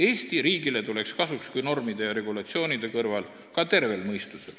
Eesti riigile tuleks kasuks, kui normide ja regulatsioonide kõrval oleks koht ka tervel mõistusel.